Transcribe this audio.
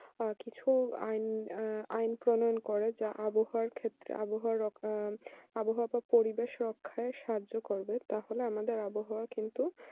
আহ কিছু আইন প্রণয়ন করা যা আবহাওয়া ক্ষেত্রে আবহাওয়া বা পরিবেশ রক্খায় সাহায্য করবে তাহলে আমাদের আবহাওয়া কিন্তু